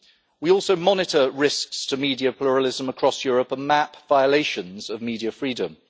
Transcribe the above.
We also monitor risks to media pluralism across Europe and map violations of media freedom.